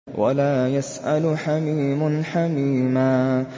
وَلَا يَسْأَلُ حَمِيمٌ حَمِيمًا